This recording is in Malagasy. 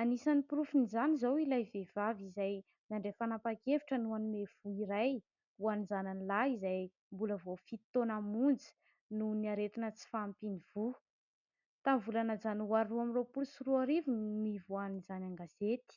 Anisan'ny porofin' izany izao ilay vehivavy izay nandray fanapahan- kevitra ny hanome voa iray ho an' ny zanany lahy izay mbola vao fito taoana monja nohon' ny aretina tsy fahampian' ny voa. Tamin'ny volana janoary roa amby roapolo sy roa arivo no nivoahan'izany an- gazety.